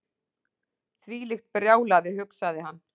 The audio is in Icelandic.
Þvílíkt brjálæði hugsaði hann.